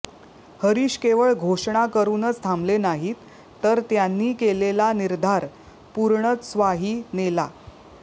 हरिष केवळ घोषणा करूनच थांबले नाहीत तर त्यांनी केलेला निर्धाऱ पूर्णत्वासही नेला